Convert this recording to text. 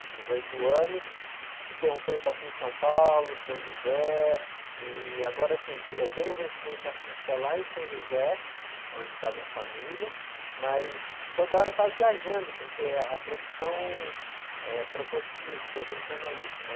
De dezoito anos, fiquei um tempo aqui em São Paulo, São José, e agora, assim, eu tenho a residência fixa lá em São José, onde está a minha família, mas toda hora está viajando, porque a profissão, eh, proporci, proporciona isso, né?